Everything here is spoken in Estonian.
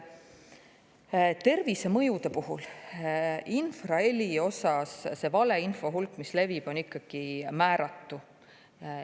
Tervisemõjude puhul, infraheli osas see valeinfo hulk, mis levib, on ikkagi määratu.